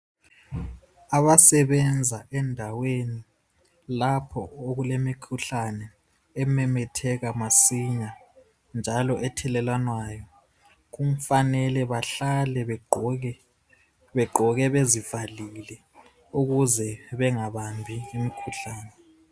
Abasebenza endaweni lapho okulemikhuhlane ememetheka masinya njalo ethelelwanayo, kufanele bahlale begqoke begqoke bezivalile ukuze bengabambi imikhuhlane.